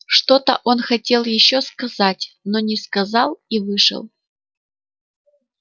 что-то он хотел ещё сказать но не сказал и вышел